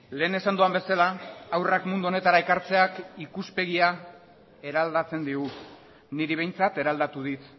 lehen esan dudan bezala haurrak mundu honetara ekartzeak ikuspegia eraldatzen digu niri behintzat eraldatu dit